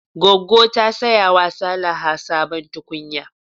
Goggo ta saya wa Salaha sabon tukunya.